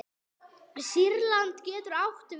Sýrland getur átt við